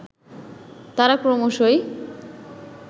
তারা ক্রমশই